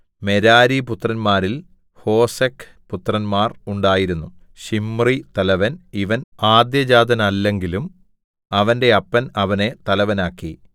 മെരാരിപുത്രന്മാരിൽ ഹോസെക്ക് പുത്രന്മാർ ഉണ്ടായിരുന്നു ശിമ്രി തലവൻ ഇവൻ ആദ്യജാതനല്ലെങ്കിലും അവന്റെ അപ്പൻ അവനെ തലവനാക്കി